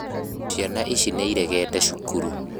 Ciana ici nĩiregete cukuru